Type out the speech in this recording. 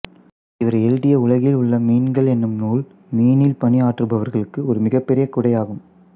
இவர் எழுதிய உலகில் உள்ள மீன்கள் என்னும் நூல் மீனில் பணியாற்றுபவர்களுக்கு ஒரு மிகப்பெரிய குடையாகும்